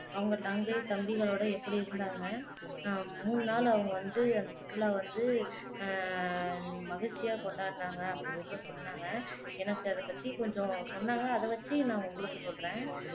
அவங்க தங்கை தம்பிகளோட எப்படி இருந்தாங்க ஆஹ் மூணு நாள் அவங்க வந்து அந்த சுற்றுலாவை வந்து ஆஹ் மகிழ்ச்சியா கொண்டாடினாங்க அப்படின்னு கூட சொன்னாங்க எனக்கு அதை பத்தி கொஞ்சம் சொன்னாங்க அத வச்சி நான் உங்களுக்கு சொல்றேன்